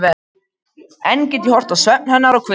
Enn get ég horft á svefn hennar og hvíld.